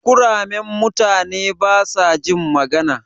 Kuramen mutane basajin magana.